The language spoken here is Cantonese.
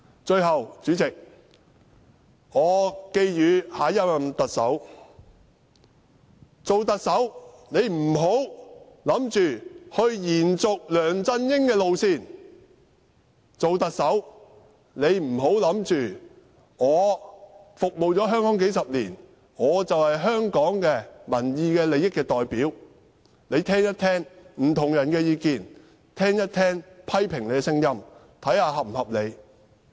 最後，主席，我寄語下任特首，做特首不要想着延續梁振英的路線；做特首不要想着已服務香港數十年，便是香港民意利益的代表，請聽一聽不同人的意見，聽一聽批評你的聲音，看看是否合理。